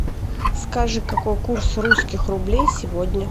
скажи какой курс русских рублей сегодня